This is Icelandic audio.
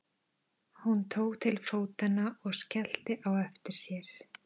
Hún tók til fótanna og skellti á eftir sér.